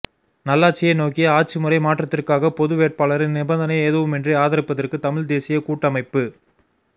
நல்லாட்சியை நோக்கிய ஆட்சி முறை மாற்றத்திற்காக பொது வேட்பாளரை நிபந்தனை எதுவுமின்றி ஆதரிப்பதற்கு தமிழ் தேசிய கூட்டமைப்பு